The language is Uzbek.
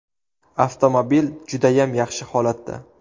Avtomobil judayam yaxshi holatda.